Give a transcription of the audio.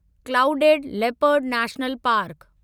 clouded leopard national park